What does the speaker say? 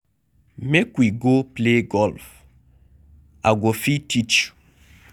Make we go play golf. I go fit teach you.